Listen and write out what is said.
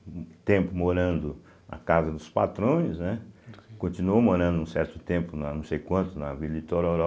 Um tempo morando na casa dos patrões, né, continuou morando um certo tempo, não sei quanto, na Vila Itororó.